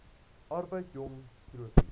arbeid jong stokkies